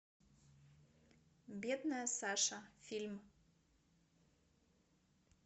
бедная саша фильм